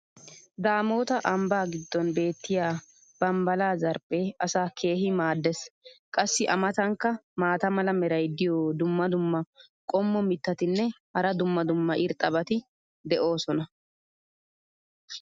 daamoota ambbaa giddon beetiya bambbala zarphee asaa keehi maadees. qassi a matankka maata mala meray diyo dumma dumma qommo mitattinne hara dumma dumma irxxabati de'oosona.